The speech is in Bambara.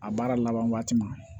A baara laban waati ma